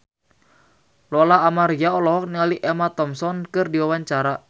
Lola Amaria olohok ningali Emma Thompson keur diwawancara